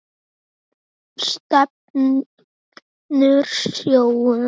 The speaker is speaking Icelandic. Stefnur sjóða